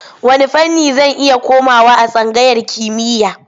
Wanne fanni zan iya komawa a tsangayar kimiyya?